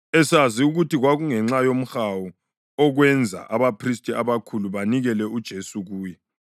esazi ukuthi kwakungenxa yomhawu okwenza abaphristi abakhulu banikela uJesu kuye.